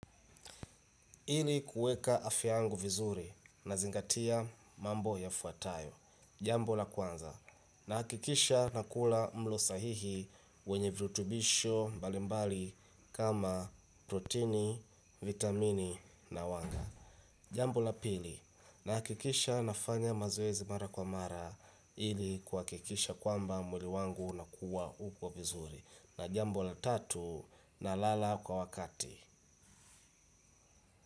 Ili kueka afya yangu vizuri na zingatia mambo ya fuatayo. Jambo la kwanza nahakikisha nakula mlo sahihi wenye virutubisho mbalimbali kama protini, vitamini na wanga. Jambo la pili nahakikisha nafanya mazoezi mara kwa mara ili kuhakikisha kwamba mwili wangu unakua uko vizuri. Na jambo la tatu na lala kwa wakati.